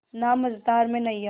ना मझधार में नैय्या